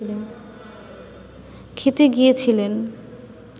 খেতে গিয়েছিলেন